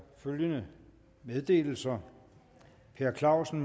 følgende meddelelser per clausen